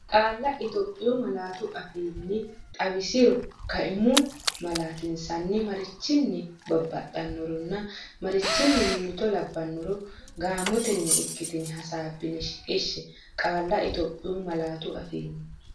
Qaalla Itophiyu malaatu afiin- xawisiro, kaimu malaatinsanni marichinni baxxitannoronna marichinni mimmito labbannoro gaamotenni ikkitine hasaabbine shiqishshe Qaalla Itophiyu malaatu afiin-.